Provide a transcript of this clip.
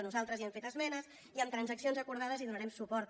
nosaltres hi hem fet esmenes i amb transac cions acordades hi donarem suport